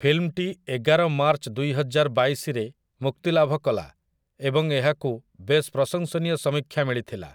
ଫିଲ୍ମଟି ଏଗାର ମାର୍ଚ୍ଚ ଦୁଇହଜାରବାଇଶରେ ମୁକ୍ତିଲାଭ କଲା ଏବଂ ଏହାକୁ ବେଶ୍ ପ୍ରଶଂସନୀୟ ସମୀକ୍ଷା ମିଳିଥିଲା ।